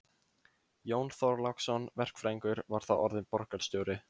Jón Þorláksson verkfræðingur var þá orðinn borgarstjóri.